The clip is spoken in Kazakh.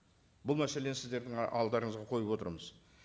бұл мәселені сіздердің і алдарыңызға қойып отырмыз